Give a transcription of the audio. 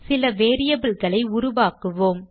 சில variableகளை உருவாக்குவோம்